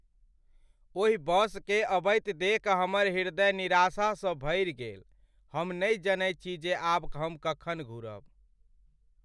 ओहि बसकेँ अबैत देखि हमर हृदय निराशासँ भरि गेल। हम नहि जनैत छी जे आब हम कखन घुरब।